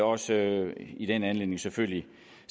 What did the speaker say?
også i den anledning selvfølgelig